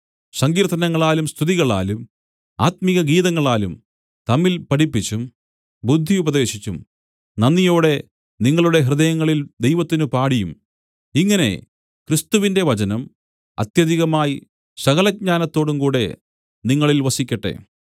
സങ്കീർത്തനങ്ങളാലും സ്തുതികളാലും ആത്മികഗീതങ്ങളാലും തമ്മിൽ പഠിപ്പിച്ചും ബുദ്ധിയുപദേശിച്ചും നന്ദിയോടെ നിങ്ങളുടെ ഹൃദയങ്ങളിൽ ദൈവത്തിന് പാടിയും ഇങ്ങനെ ക്രിസ്തുവിന്റെ വചനം അത്യധികമായി സകലജ്ഞാനത്തോടും കൂടെ നിങ്ങളിൽ വസിക്കട്ടെ